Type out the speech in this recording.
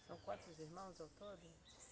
São quantos irmãos ao todo?